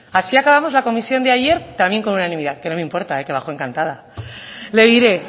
así acabamos la comisión de ayer también con unanimidad que no me importa eh que bajo encantada le diré